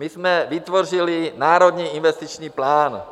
My jsme vytvořili Národní investiční plán